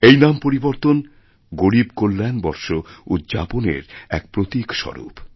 এই নাম পরিবর্তন গরীব কল্যাণ বর্ষ উদ্যাপনের এক প্রতীক স্বরূপ